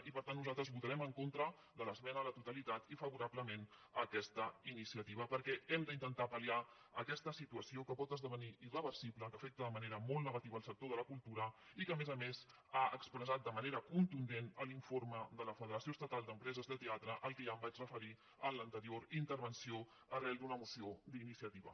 i per tant nosaltres votarem en contra de l’esmena a la totalitat i favorablement a aquesta iniciativa perquè hem d’intentar palvenir irreversible que afecta de manera molt negativa el sector de la cultura i que a més a més ha expressat de manera contundent l’informe de la federació estatal d’empreses de teatre al qual ja em vaig referir en l’anterior intervenció arran d’una moció d’iniciativa